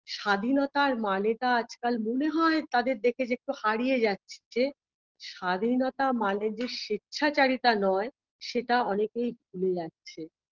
স্বাধীনতার মানেটা আজকাল মনে হয় তাদের দেখে যে একটু হারিয়ে যাচ্ছে স্বাধীনতা মানে যে স্বেচ্ছাচারিতা নয় সেটা অনেকেই ভুলে যাচ্ছে